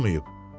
Olmayıb.